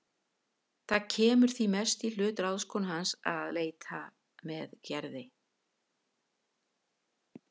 Það kemur því mest í hlut ráðskonu hans að leita með Gerði.